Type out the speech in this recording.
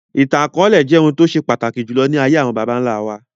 Ìtàn akọọlẹ jẹ́ ohun tó ṣe pàtàkì jùlọ ní ayé àwọn bàbá nlá wa